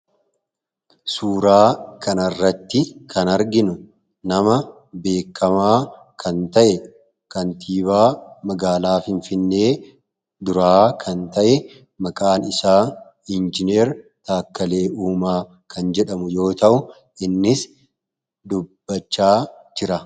suuraa kanarratti kan arginu nama beekamaa kan ta'e kaantiibaa magaalaaf hinfinnee duraa kan ta'e maqaan isaa injinier taakkalee uumaa kan jedhamu yoo ta'u innis dubbachaa jira.